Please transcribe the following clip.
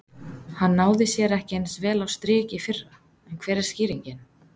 Hann náði sér ekki eins vel á strik í fyrra en hver er skýringin?